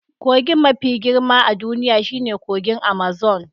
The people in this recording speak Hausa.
Kogin mafi girma a duniya shine kogin Amazon